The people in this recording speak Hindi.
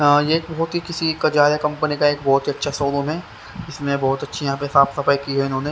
यह बहुत ही किसी कजार कंपनी का एक बहुत ही अच्छा शोरूम है इसमें बहुत अच्छी यहाँ पे साफ सफाई की है इन्होंने--